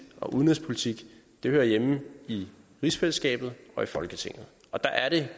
og udenrigspolitik hører hjemme i rigsfællesskabet og i folketinget og der er det